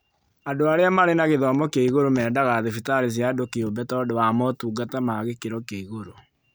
Andũ arĩa marĩ na gĩthomo kĩa igũrũ mendaga thibitarĩ cia andũ kĩũmbe tondũ wa motungata ma gĩkĩro kĩa igũrũ